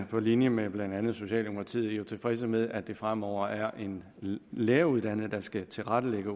på linje med blandt andet socialdemokratiet tilfredse med at det fremover er en læreruddannet der skal tilrettelægge